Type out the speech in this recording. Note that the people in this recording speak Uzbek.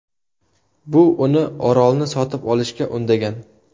Bu uni orolni sotib olishga undagan.